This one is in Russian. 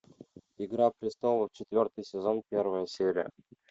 игра престолов четвертый сезон первая серия